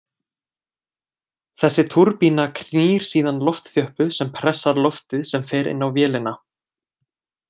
Þessi túrbína knýr síðan loftþjöppu sem pressar loftið sem fer inn á vélina.